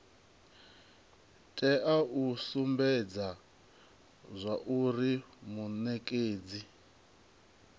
tea u sumbedza zwauri munekedzi